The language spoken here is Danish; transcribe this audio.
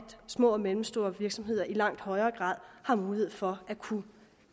små og mellemstore virksomheder i langt højere grad har mulighed for at kunne